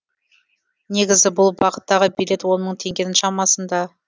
негізі бұл бағыттағы билет он мың теңгенің шамасында